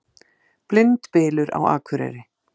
Blindbylur á Akureyri